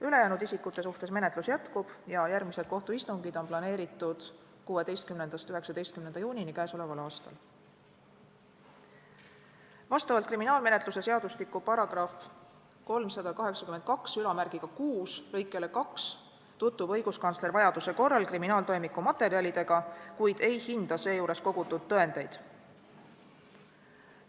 Ülejäänud isikute suhtes menetlus jätkub ja järgmised kohtuistungid on planeeritud 16.–19. juunini k.a. Vastavalt kriminaalmenetluse seadustiku § 3826 lõikele 2 tutvub õiguskantsler vajaduse korral kriminaaltoimiku materjalidega, kuid ei hinda seejuures kogutud tõendeid.